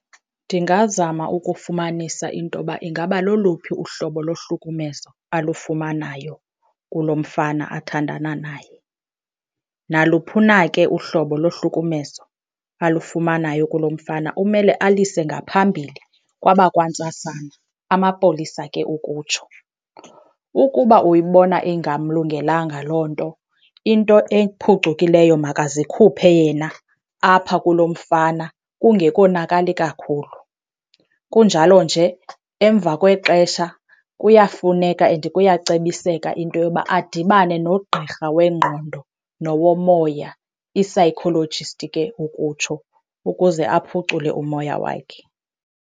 Ndingazama ukufumanisa into yoba ingaba loluphi uhlobo lohlukumezo alufumanayo kulo mfana athandana naye. Naluphina ke uhlobo lohlukumezo alufumanayo kulo mfana umele alise ngaphambili kwabakwantsasana, amapolisa ke ukutsho. Ukuba uyibona ingamlungelanga loo nto, into ephucukileyo makazikhuphe yena apha kulo mfana kungekonakali kakhulu. Kunjalo nje, emva kwexesha kuyafuneka and kuyacebiseka into yoba adibane nogqirha wengqondo nowomoya, i-psychologist ke ukutsho, ukuze aphucule umoya wakhe.